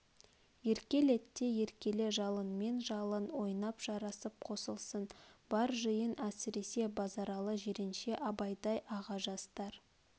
еркелет те еркеле жалынмен жалын ойнап жарасып қосылсын бар жиын әсресе базаралы жиренше абайдай аға жастар